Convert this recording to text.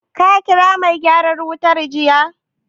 Ka ƙira mai gyaran wutar jiya?